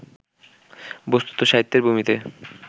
বস্তুত, সাহিত্যের ভূমিতে